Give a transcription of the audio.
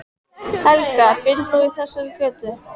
Helga: Býrð þú í þessari götu?